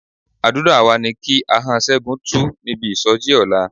Àdúrà wa ni kí ahọ́n Ṣẹ́gun tú níbi ìsọjí ọ̀la.